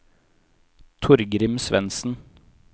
Torgrim Svensen